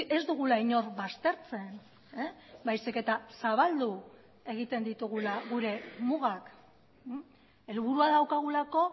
ez dugula inor baztertzen baizik eta zabaldu egiten ditugula gure mugak helburua daukagulako